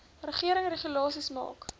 regering regulasies maak